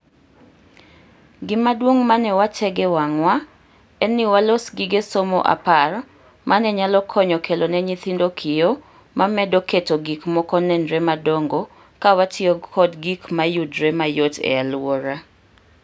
Gimaduong' mane wategee wang'wa en ni walos gige somo apar mane nyalo konyo kelo ne nyithindo, kiyo mamedo keto gik moko nenre madongo, kawatiyo kod gik mayudre mayot ealuora.